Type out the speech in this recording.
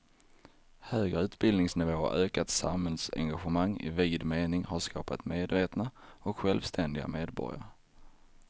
Högre utbildningsnivå och ökat samhällsengagemang i vid mening har skapat medvetna och självständiga medborgare.